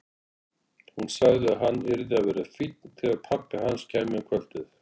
Hún sagði að hann yrði að vera fínn þegar pabbi hans kæmi um kvöldið.